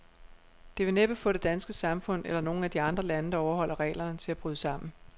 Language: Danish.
Det vil næppe få det danske samfund, eller nogen af de andre lande, der overholder reglerne, til at bryde sammen.